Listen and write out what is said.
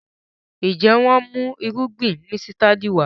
njé wón mú Irúgbìn músítádì Wá?